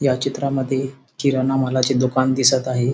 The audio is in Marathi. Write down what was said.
या चित्रामध्ये किराणा मालाचे दुकान दिसत आहे.